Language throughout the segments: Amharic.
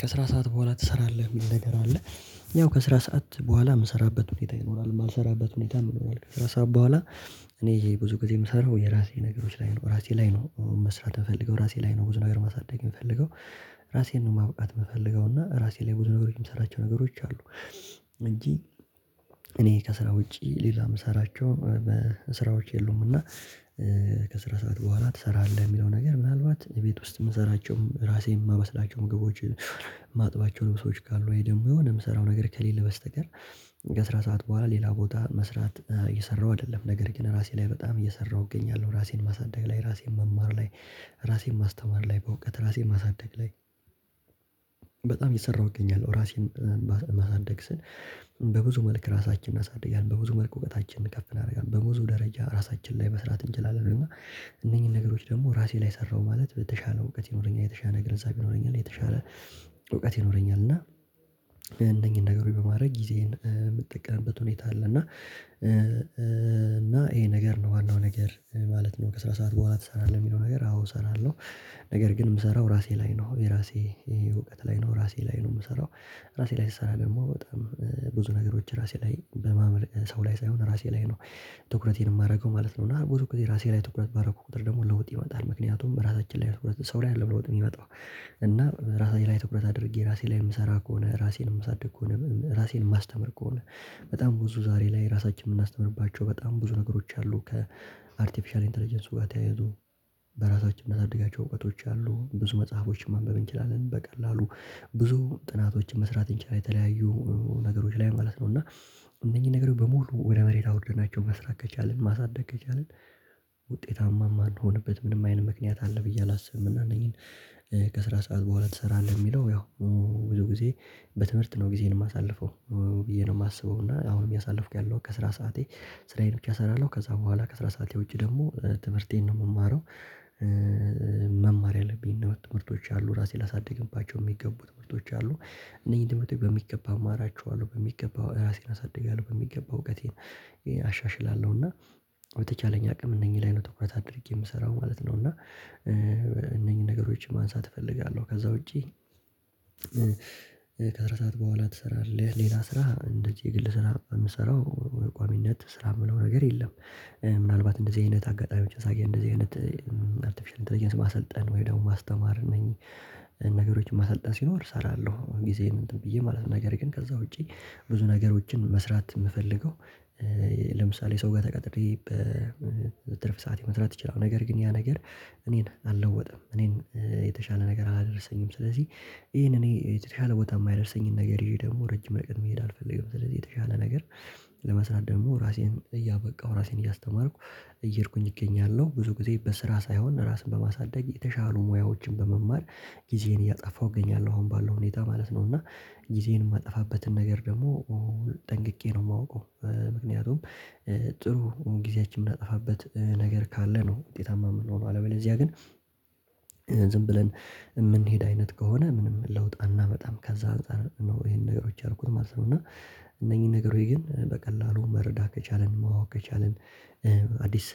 ከስራ ሰዓት በኋላ ትሰራለህ ሚል ነገር አለ? ያው ከስራ ሰዓት በኋላ ምሰራበት ሁኔታ ይኖራል የማልሰራበት ሁኔታ ይኖራል ከአስራ ሰዓት በኋላ። እኔ ይሄ ብዙ ጊዜ የምሰራው የራሴ ነገሮች ላይ ነው ራሴ ላይ ነው መስራት ምፈልገው ራሴ ላይ ነው ብዙ ነገር ማሳደግ ምፈልገው። ራሴን ነው ማብቃት የምፈልገው እና ራሴ ላይ ብዙ ነገሮችን የምሰራቸው ነገሮች አሉ። እንጂ እኔ ከስራ ውጪ ሌላ የምሰራቸው እ በስራዎች የሉምና። እ ከስራ ሰዓት በኋላ ትሰራለህ የሚለው ነገር ምናልባት እቤት ውስጥ ምሰራቸውም ራሴን ማበስላቸው ምግቦችን። የማጥባቸው ልብሶች ካሉ ወይ ደመ የሆነ የምሰራው ነገር ከሌለ በስተቀር። ከስራ ሰዓት በኋላ ሌላ ቦታ መስራት እ እየሰራው አይደለም ነገር ግን ራሴ ላይ በጣም እየሰራሁ እገኛለሁ ራሴን ማሳደግ ላይ ራሴን መማር ላይ ራሴን ማስተማር ላይ በእውቀት ራሴን ማሳደግ ላይ በጣም እየሰራሁት እገኛለሁ። ራሴን እ ማሳደግ ስን በብዙ መልክ ራሳችንን አሳድጊያለሁ በብዙ መልክ እውቀታችንን ከፍ እናደርጋለን በብዙ ደረጃ ራሳችን ላይ መስራት እንችላለን። እና እነኚህን ነገሮች ደግሞ ራሴ ላይ ሰራሁ ማለት በተሻለ እውቀት ይኖረኛል የተሻለ ግንዛቤ ይኖረኛል እውቀት ይኖረኛል እና እነኝህን ነገሮች በማድረግ ጊዜዬን እ የምትጠቀምበት ሁኔታ አለ። እና እና ይሄ ነገር ነው ዋናው ነገር እ ማለት ነው ከስራ ሰዓት በኋላ ትሰራለህ የሚለው ነገር አዎ እሰራለሁ። ነገር ግን የምሰራው ራሴ ላይ ነው የራሴ እውቀት ላይ ነው ራሴ ላይ ነው ምሰራው ራሴ ላይ ስሰራ ደግሞ በጣም ብዙ ነገሮች ራሴ ላይ በማመልከት ሰው ላይ ሳይሆን ራሴ ላይ ነው። ትኩረቴን የማረገው ማለት ነው እና ብዙ ጊዜከ ራሴ ላይ ትኩረት ባረኩ ቁጥር ደግሞ ለውጥ ይመጣል ምክንያቱም በራሳችን ላይ ትኩረት ሰው ላይ አይደለም ለውጥ የሚመጣው እና ራሳችን ላይ ትኩረት አድርጌ ራሴ ላይ የምሰራ ከሆነ ራሴን ማሳድግ ከሆነ ራሴን ማስተምር ከሆነ በጣም ብዙ ዛሬ ላይ ራሳችንን የምናስተምርባቸው በጣም ብዙ ነገሮች አሉ። ከአርቲፊሻል ኢንተለጀንስ ጋ ተያይዞ በራሳችን እንዳሳድጋቸው እውቀቶች አሉ ብዙ መጽሐፎችን ማንበብ እንችላለን በቀላሉ ብዙ ጥናቶችን መስራት እንችላለን የተለያዩ ነገሮች ላይ ማለት ነው። እና እነኚህ ነገሮች በሙሉ ወደ መሬት አውርደናቸው መስራት ከቻልን ማሳደግ ከቻልን ውጤታማ ማንሆንበት ምንም አይነት ምክንያት አለ ብዬ አላስብም። እና እነኚህን እ ከስራ ሰዓት በኋላ ትሰራለህ እሚለው ያው ው ብዙ ጊዜ በትምህርት ነው ጊዜን የማሳልፈው ብዬ ነው ማስበው እና አሁን እያሳልፍኩ ያለው ከስራ ሰዓቴ ስራዬን ብቻ እሰራለሁ ከዛ በኋላ ከስራ ሰዓት የውጭ ደግሞ ትምህርቴን ነው ምማረው። እእእ መማር ያለብኝ ነው ትምህርቶች አሉ ራሴን ላሳድግባቸው የሚገቡ ትምህርቶች አሉ እነኝህ ትምህርቶች በሚገባ አማራቸዋለሁ በሚገባ ራሴን አሳድጋለሁ በሚገባ እውቀቴን አሻሽላለሁ እና በተቻለኝ አቅም እነኚህ ላይ ነው ትኩረት አድርጌ የምሰራው ማለት ነው። እና እ እነኚህን ነገሮችን ማንሳት እፈልጋለሁ ከዛ ውጪ ከስራ ሰዓት በኋላ ትሰራለህ ሌላ ስራ እንደዚህ የግል ስራ ምሰራው ቋሚነት ስራ ምነው ነገር የለም እ ምናልባት እንደዚህ አይነት አጋጣሚዎች ሳገኝ እንደዚህ አይነት አርቲፊሻል ኢንተርጀንስ ማሰልጠን ወይ ደግሞ ማስተማር ነኝ። ነገሮችን ማሰልጠን ሲኖር እሰራለሁ ጊዜም እንትን ብዬ ማለት ነገር ግን ከዛ ውጪ ብዙ ነገሮችን መስራት ምፈልገው። ለምሳሌ ሰው ጋር ተቀጥሬ በእ ትርፍ ሰዓቴ መስራት ይችላል ነገር ግን ያ ነገር እኔን አልለወጥም እኔን እ የተሻለ ነገር አላደረሰኝም ስለዚህ ይሄን እኔ የተሻለ ቦታ የማይረሰኝን ነገር ይዤ ደግሞ ረጅም መንገድ መሄድ አልፈልግም ስለዚህ የተሻለ ነገር። ለመስራት ደግሞ ራሴን እያበቃው ራሴን እያስተማርኩ እየሄድኩኝ እገኛለሁ ብዙ ጊዜ በስራ ሳይሆን ራስን በማሳደግ የተሻሉ ሙያዎችን በመማር ጊዜዬን እያጠፋሁ እገኛለሁ አሁን ባለው ሁኔታ ማለት ነው። እና ጊዜዬን የማጠፋበትን ነገር ደግሞ ኦ ጠንቅቄ ነው ማውቀው ምክንያቱም እእ ጥሩ ጊዜያችን የምናጠፋበት ነገር ካለ ነው ውጤታማ የምንሆነው አለበለዚያ ግን ዝም ብለን የምንሄድ አይነት ከሆነ ምንም ለውጥ አናምጣም ከዛ አንፃር ነው ይሄን ነገሮች አርቆ ማሰብ ነው። እና እነኚህ ነገሮች ግን በቀላሉ መረዳት ከቻልን ማወቅ ከቻልን አዲስ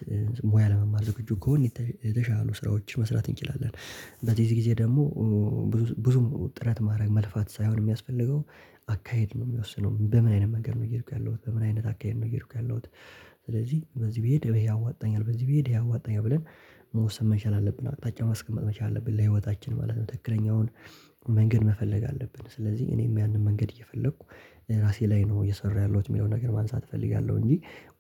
ሙያ ለመማር ዝግጁ ከሆን የተሻሉ ስራዎች መስራት እንችላለን። በዚህ ጊዜ ደግሞ ብዙ ብዙም ጥረት ማድረግ መልፋት ሳይሆን ሚያስፈልገው አካሄድ ነው ሚወስነው በምን አይነት ነገር ነው እየሄድኩ ያለሁት በምን አይነት አካሄድ ነው እየሄድኩ ያለሁት? ስለዚህ በዚህ ብሄድ ይሄ ያዋጣኛል በዚህ ብሄድ ይሄ ያዋጣኛል ብለን መወሰን መቻል አለብን አቅጣጫ ማስቀመጥ መቻል አለብን ለህይወታችን ማለት ነው ትክክለኛውን መንገድ መፈለግ አለብን። ስለዚህ እኔም ያንን መንገድ እየፈለኩ እ ራሴ ላይ ነው እየሰራሁ ያለሁት ሚለውን ነገር ማንሳት እፈልጋለሁ እንጂ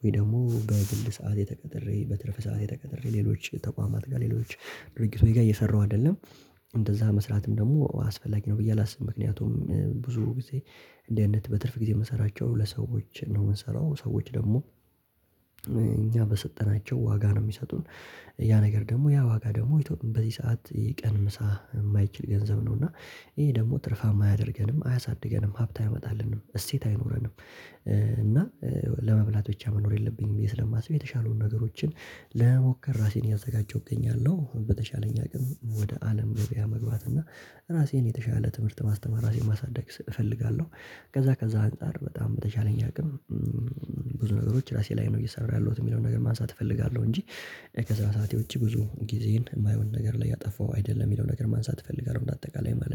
ወይ ደግሞ በግል ሰዓቴ ተቀጠሬ በትረፍ ሰዓት ተቀጠሬ ሌሎች ተቋማት ጋር ሌሎች ድርጊቶይ ጋር እየሰራሁ አይደለም። እንደዛ መስራትም ደግሞ አስፈላጊ ነው ብዬ አላስብም ምክንያቱም እም ብዙ ጊዜ እንዲ አይነት በትርፍ ጊዜ ምንሰራቸው ለሰዎች ነው ምንሰራው ሰዎች ደግሞ እእእ እኛ በሰጠናቸው ዋጋ ነው ሚሰጡን ያ ነገር ደግሞ ያ ዋጋ ደግሞ በዚህ ሰዓት የቀን ምሳ የማይችል ገንዘብ ነው እና ይሄ ደግሞ ትርፋማ አያደርገንም አያሳድገንም ሀብት አይመጣልንም እሴት አይኖረንም። እ እና እ ለመብላት ብቻ መኖር የለብኝም ብዬ ስለማስብ የተሻሉን ነገሮችን ለመሞከር ራሴን እያዘጋጀሁ እገኛለሁ። በተሻለኝ አቅም ወደ አለም መግቢያ መግባት እና ራሴን የተሻለ ትምህርት ማስተማር ራሴን ማሳደግ ስ እፈልጋለሁ። ከዛ ከዛ አንፃር በጣም በተቻለኝ አቅም እምም ብዙ ነገሮች ራሴ ላይ ነው እየሰራ ያለሁት የሚለውን ነገር ማንሳት እፈልጋለሁ እንጂ ከዛ ሰዓት ውጪ ብዙ ጊዜን የማይሆን ነገር ላይ ያጠፋው አይደለም የሚለው ነገር ማንሳት እፈልጋለሁ በአጠቃላይ ማለት